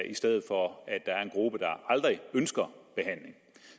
i stedet for at der er en gruppe der aldrig ønsker behandling